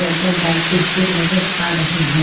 लेंटर डालते हुए नजर आ रहे हैं।